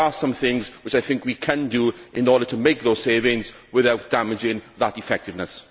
However, there are some things which I think we can do in order to make those savings without damaging that effectiveness.